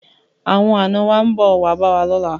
Awon ana wa nbo wa be wa lola